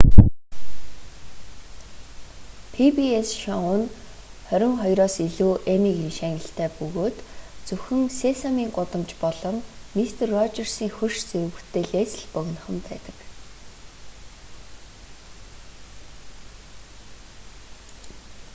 пи-би-эс шоу нь хорин хоёроос илүү эммигийн шагналтай бөгөөд зөвхөн сесамийн гудамж болон мистер роджерсын хөрш зэрэг бүтээлээс л богинохон байдаг